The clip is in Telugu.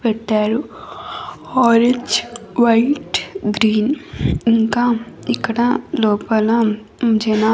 పెట్టారు ఆరెంజ్ వైట్ గ్రీన్ ఇంకా ఇక్కడ లోపల జన --